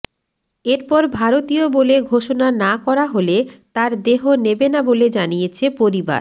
এরপর ভারতীয় বলে ঘোষণা না করা হলে তাঁর দেহ নেবে না বলে জানিয়েছে পরিবার